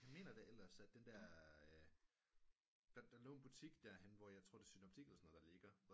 Jeg mener da ellers at den der der lå en butik der henne hvor jeg tror det er synoptik eller sådan noget der ligger